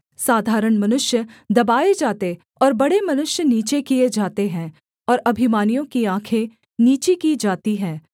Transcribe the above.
साधारण मनुष्य दबाए जाते और बड़े मनुष्य नीचे किए जाते हैं और अभिमानियों की आँखें नीची की जाती हैं